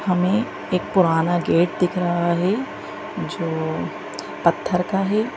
हमें एक पुराना गेट दिख रहा है जो पत्थर का है।